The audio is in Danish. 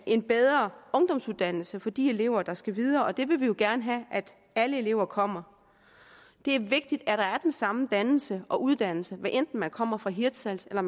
en bedre ungdomsuddannelse for de elever der skal videre og det vil vi jo gerne have at alle elever kommer det er vigtigt at der er den samme dannelse og uddannelse hvad enten man kommer fra hirtshals eller